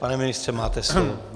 Pane ministře, máte slovo.